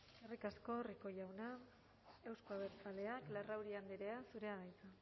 eskerrik asko rico jauna euzko abertzaleak larrauri andrea zurea da hitza